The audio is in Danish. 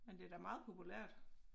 Men det da meget populært